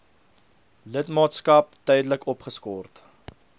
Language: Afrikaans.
lidmaatskap tydelik opgeskort